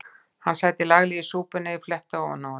Hann sæti laglega í súpunni ef ég fletti ofan af honum.